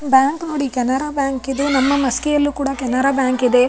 Bank ನೋಡಿ Canara bank ಇದು ನಮ್ಮ ನಸ್ಕೆಯಲ್ಲಿ ಕೂಡ ಕೆನರ ಬ್ಯಾಂಕ್ ಇದೆ.